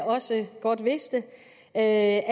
også godt vidste at